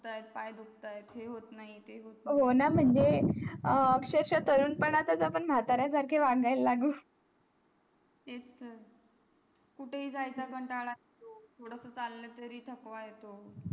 पाय चुकतायत हे होत नाही ते होत नाही हो ना माझे अह अक्षरश तरुण पानात याच आपण म्हातार्या सारखेच वागायला लागू त्यातच तर कुठे हे जायचा कंटाळा थोडा स चला तरी थकवा येतो